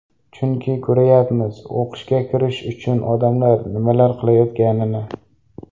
Chunki ko‘ryapmiz o‘qishga kirish uchun odamlar nimalar qilayotganini.